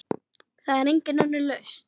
Það er engin önnur lausn.